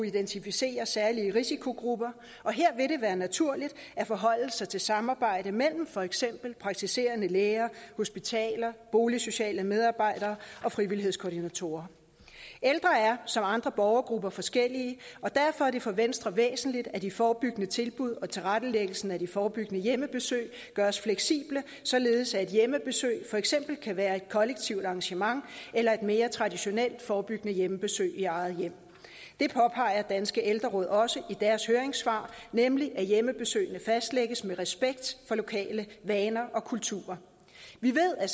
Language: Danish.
identificere særlige risikogrupper og her vil det være naturligt at forholde sig til samarbejdet mellem for eksempel praktiserende læger hospitaler boligsociale medarbejdere og frivillighedskoordinatorer ældre er som andre borgergrupper forskellige og derfor er det for venstre væsentligt at de forebyggende tilbud og tilrettelæggelsen af de forebyggende hjemmebesøg gøres fleksible således at et hjemmebesøg for eksempel kan være et kollektivt arrangement eller et mere traditionelt forebyggende hjemmebesøg i eget hjem det påpeger danske ældreråd også i deres høringssvar nemlig at hjemmebesøgene fastlægges med respekt for lokale vaner og kulturer vi ved at